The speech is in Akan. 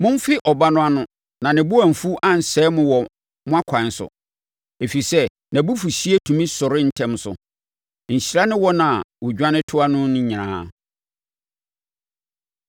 Momfe Ɔba no ano, na ne bo amfu ansɛe mo wɔ mo akwan so, ɛfiri sɛ nʼabufuhyeɛ tumi sɔre ntɛm so. Nhyira ne wɔn a wɔdwane toa no nyinaa.